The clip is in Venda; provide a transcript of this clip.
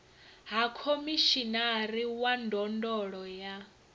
ha khomishinari wa ndondolo ya